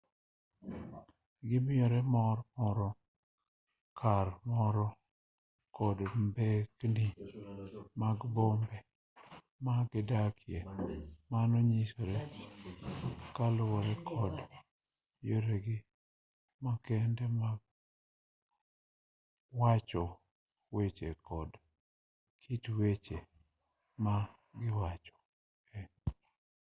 gimiyore mor moro ka moro kod mbekni mag bombe ma gidakie mano nyisore kaluwore kod yoregi makende mag wacho weche to kod kit weche ma giwacho